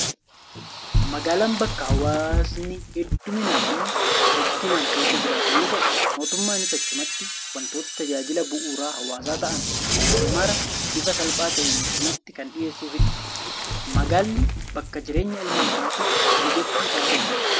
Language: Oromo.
Magaalaan bakka hawaasni hedduminaa fi rukkinaan keessa jiraatu yoo ta'u, mootummaanis achumatti waantota tajaajila bu'uura hawaasaa ta'an mara bifa salphaa ta'een achumatti kan dhiheessuufidha. Magaalli bakka jireenya ilma namaatiif mijattuu taatedha.